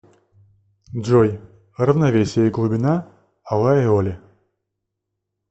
джой равновесие и глубина алай оли